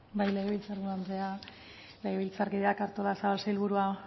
bai legebiltzar buru andrea legebiltzarkideak artolazabal sailburua